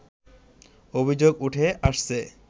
অভিযোগ উঠে আসছে